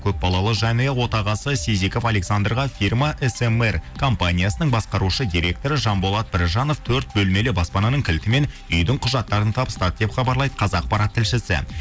көпбалалы жанұя отағасы сизеков александрға фирма смр компаниясының басқарушы директоры жанболат біржанов төрт бөлмелі баспананың кілті мен үйдің құжаттарын табыстады деп хабарлайды қазақпарат тілшісі